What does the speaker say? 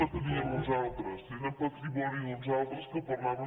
la tenien uns altres era patrimoni d’uns altres que parlaven